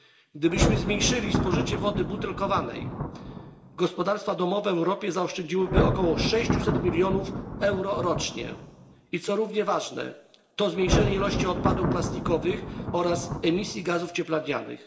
Gdybyśmy zmniejszyli spożycie wody butelkowanej, gospodarstwa domowe w Europie zaoszczędziłyby około 600 milionów euro rocznie i co równie ważne przyniosłoby to zmniejszenie ilości odpadów plastikowych oraz emisji gazów cieplarnianych.